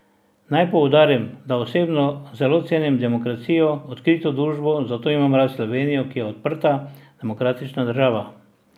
Naj poudarim, da osebno zelo cenim demokracijo, odkrito družbo, zato imam rad Slovenijo, ki je odprta, demokratična država.